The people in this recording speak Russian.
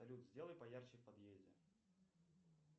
салют сделай поярче в подъезде